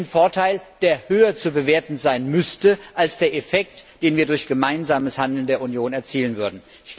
Welchen Vorteil, der höher zu bewerten sein müsste als der Effekt, den wir durch gemeinsames Handeln der Union erzielen würden?